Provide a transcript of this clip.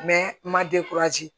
ma